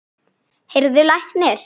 Heyrðu, læknir.